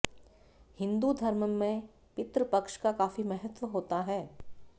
हिंदू धर्म में पितृपक्ष का काफी महत्व होता है